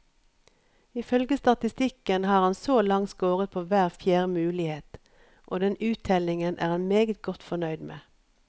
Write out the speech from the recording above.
I følge statistikken har han så langt scoret på hver fjerde mulighet, og den uttellingen er han meget godt fornøyd med.